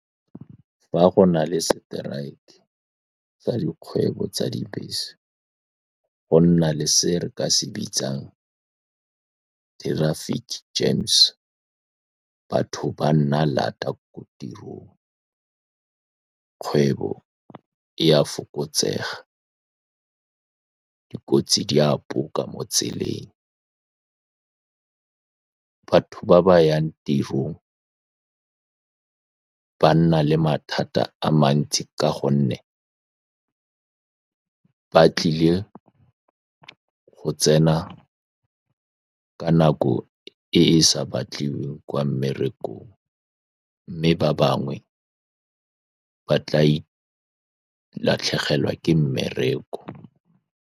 Fa go na le strike sa dikgwebo tsa dibese, go nna le se re ka se bitsang traffic gems. Batho ba nna laat ko tirong, kgwebo e a fokotsega, dikotsi di a poka mo tseleng. Ba ba yang tirong ba nna le mathata a mantsi ka gonne ba tlile go tsena ka nako e e sa batliwing kwa mmerekong, mme ba bangwe ba tla latlhegelwa ke mmereko.